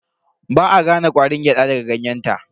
Ba a gane ƙwarin gyada daga ganyenta.